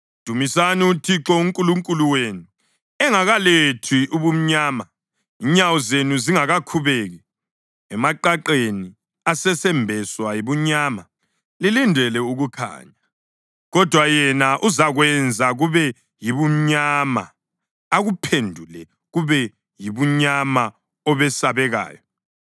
Dumisani uThixo uNkulunkulu wenu engakalethi ubumnyama, inyawo zenu zingakakhubeki emaqaqeni asesembeswa yibumnyama. Lilindele ukukhanya, kodwa yena uzakwenza kube yibumnyama, akuphendule kube yibumnyama obesabekayo.